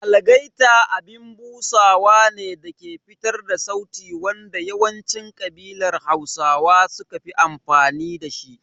Algaita abin busawa ne dake fitar da sauti wanda yawancin ƙabilar Hausa suka fi amfani da shi.